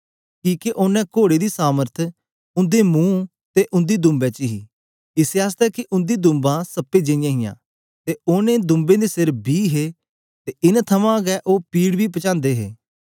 किके ओनें कोड़े दी सामर्थ उंदे मुंह ते उंदी दूंबें च हे इसै आसतै के उंदी दूंबां सप्पें जेईयां हियां ते ओनें दूंबें दे सिर बी हे ते इनां थमां गै ओ पीड़ बी पजांदे दे हे